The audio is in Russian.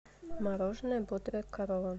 мороженое бодрая корова